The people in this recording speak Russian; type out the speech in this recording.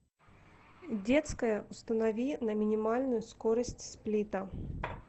детская установи на минимальную скорость сплита